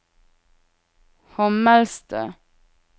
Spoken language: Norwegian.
Hommelstø